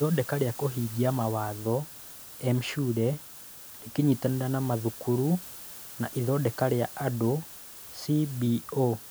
Ithondeka rĩa kũhingia mawatho: M-Shule rĩkĩnyitanĩra na mathukuru na Ithondeka rĩa Andũ (CBO).